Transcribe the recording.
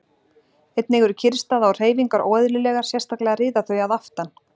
Einnig eru kyrrstaða og hreyfingar óeðlilegar, sérstaklega riða þau að aftan.